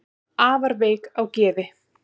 afar veik á geði